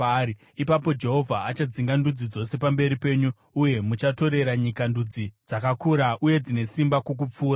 ipapo Jehovha achadzinga ndudzi dzose pamberi penyu, uye muchatorera nyika ndudzi dzakakura uye dzine simba kukupfuurai.